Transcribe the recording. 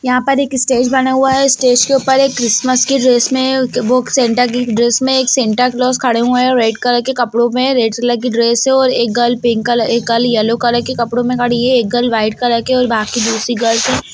यहाँ पर एक स्टेज बना हुआ है स्टेज के ऊपर एक क्रिसमस की ड्रेस में एक वो सैंटा की ड्रेस में एक सैंटा क्लॉस खड़े हुए हैं रेड कलर के कपड़ों में रेड कलर की ड्रेस है और एक गर्ल पिंक कलर एक गर्ल येल्लो कलर के कपड़ों में खड़ी है एक गर्ल व्हाइट कलर के और बाकी दूसरी गर्ल्स है।